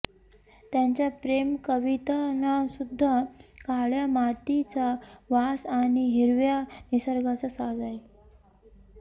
त्यांच्या प्रेमकवितांनासुद्धा काळ्या मातीचा वास आणि हिरव्या निसर्गाचा साज आहे